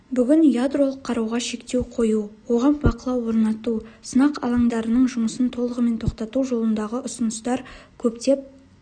бүгін ядролық қаруға шектеу қою оған бақылау орнату сынақ алаңдарының жұмысын толығымен тоқтату жолындағы ұсыныстар көптеп